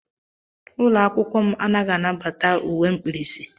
Ụlọ akwụkwọ m anaghị anabata uwe mkpirisi.